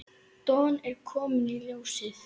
Don er kominn í ljósið.